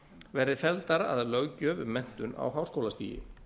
verði felldar að löggjöf um menntun á háskólastigi